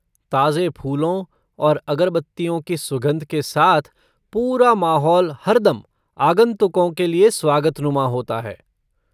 ताजे फूलों और अगरबत्तियों की सुगंध के साथ पूरा माहौल हरदम आगंतुकों के लिए स्वागतनुमा होता है।